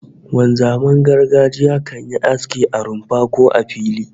Wanzaman gargajiya kan yi aski a rumfa, ko a fili